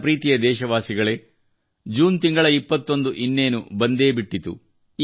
ನನ್ನ ಪ್ರೀತಿಯ ದೇಶವಾಸಿಗಳೇ ಜೂನ್ ತಿಂಗಳ 21 ಇನ್ನೇನು ಬಂದೇ ಬಿಟ್ಟಿತು